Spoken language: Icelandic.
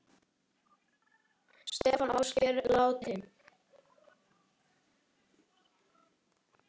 Stefán Ásgeir, látinn.